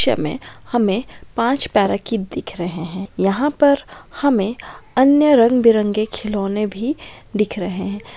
इस पिक्चर में हमें पांच पैराकी दिख रहे है यहां पर हमें अन्य रंग-बिरंगे खिलौने भी दिख रहे है।